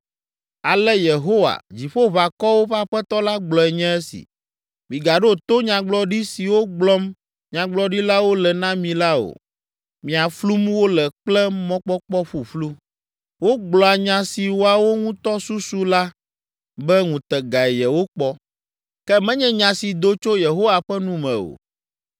Ale Yehowa, Dziƒoʋakɔwo ƒe Aƒetɔ la gblɔe nye esi: “Migaɖo to nyagblɔɖi siwo gblɔm Nyagblɔɖilawo le na mi la o. Mia flum wole kple mɔkpɔkpɔ ƒuƒlu. Wogblɔa nya si woawo ŋutɔ susu la be ŋutegae yewokpɔ, ke menye nya si do tso Yehowa ƒe nu me o.